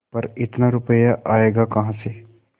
पर इतना रुपया आयेगा कहाँ से